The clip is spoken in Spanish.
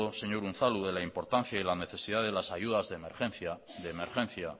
señor unzalu de la importancia y la necesidad de las ayudas de emergencia